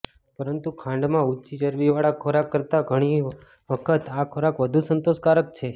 પરંતુ ખાંડમાં ઊંચી ચરબીવાળા ખોરાક કરતાં ઘણી વખત આ ખોરાક વધુ સંતોષકારક છે